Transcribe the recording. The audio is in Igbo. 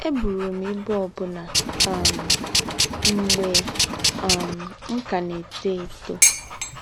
Ébùrù m íbú òbù̀nà um mgbè um m̀ kà nà-ètó étó